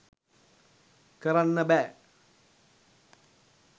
කරන්න බෑ.